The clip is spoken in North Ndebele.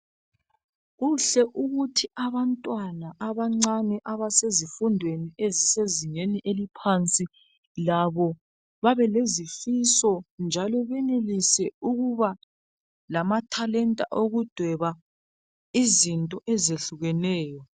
Kuhle ukuthi abantwana abancani abasezifundweni ezingeni eliphansi labo bebelezifiso njalo benelise ukuba lamatalent okudweba izi ezehlukeneyo